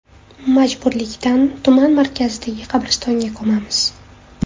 Majburlikdan tuman markazidagi qabristonga ko‘mamiz.